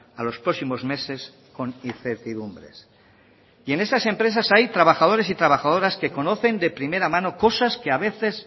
a los próximos meses con incertidumbres y en esas empresas hay trabajadores y trabajadoras que conocen de primera mano cosas que a veces